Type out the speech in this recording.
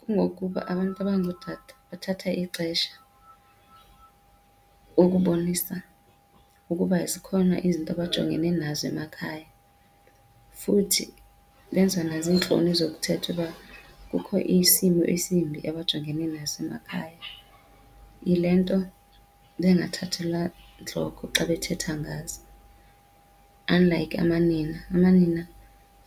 Kungokuba abantu abangootata bathatha ixesha ukubonisa ukuba zikhona izinto abajongene nazo emakhaya, futhi benziwa naziintloni zokuthetha uba kukho isimo esimbi abajongene naso emakhaya. Yile nto bengathathelwa ntloko xa bethetha ngazo unlike amanina. Amanina